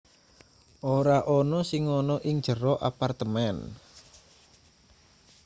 ora ana sing ana ing jero apartemen